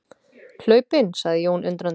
Hlaupinn, sagði Jón undrandi.